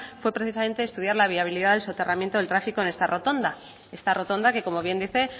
fue precisamente estudiar la viabilidad del soterramiento del tráfico en esta rotonda esta rotonda que como bien dice